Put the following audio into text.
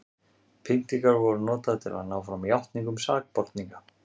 pyntingar voru notaðar til að ná fram játningum sakborninga